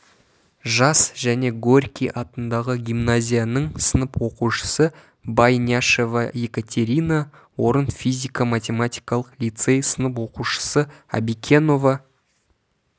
жас және горький атындағы гимназияның сынып оқушысы байняшева екатерина орын физико-математикалық лицей сынып оқушысы абикенова